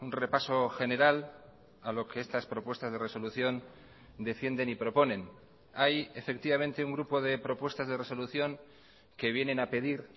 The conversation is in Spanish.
repaso general a lo que estas propuestas de resolución defienden y proponen hay efectivamente un grupo de propuestas de resolución que vienen a pedir